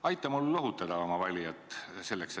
Aita mul seda inimest lohutada!